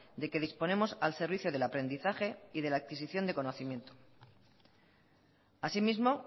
de que disponemos al servicio del aprendizaje y de la adquisición de conocimiento así mismo